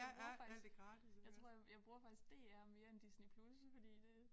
Jeg bruger faktisk jeg tror jeg jeg bruger faktisk DR mere end Disney+ fordi det